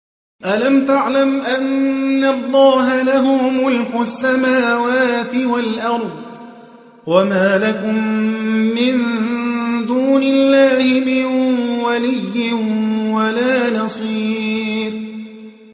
أَلَمْ تَعْلَمْ أَنَّ اللَّهَ لَهُ مُلْكُ السَّمَاوَاتِ وَالْأَرْضِ ۗ وَمَا لَكُم مِّن دُونِ اللَّهِ مِن وَلِيٍّ وَلَا نَصِيرٍ